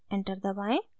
enter दबाएं